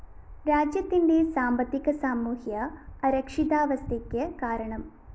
രാജ്യത്തിന്റെ സാമ്പത്തിക സാമൂഹ്യ അരക്ഷിതാവസ്ഥയ്ക്ക് കാരണം